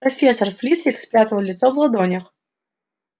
профессор флитвик спрятал лицо в ладонях